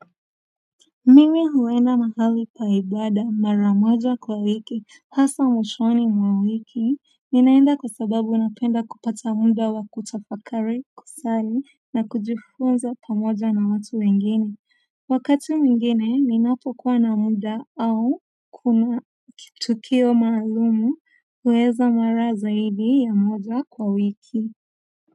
Mimi huenda mahali pa ibaada mara moja kwa wiki hasa mwishoni mwa wiki ninaenda kwa sababu napenda kupata muda wa kutafakari kusali na kujifunza pamoja na watu wengine wakati mwingine ninapokuwa na muda au kuna kitukio maalumu uweza mara zaidi ya moja kwa wiki.